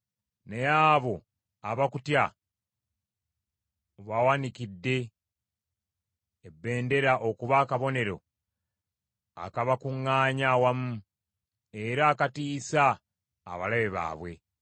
Naye abo abakutya obawanikidde ebbendera okuba akabonero akabakuŋŋaanya awamu, era akatiisa abalabe baabwe.